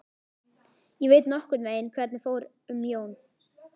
Ég veit nokkurn veginn hvernig fer um Jón.